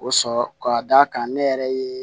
O sɔrɔ ka d'a kan ne yɛrɛ ye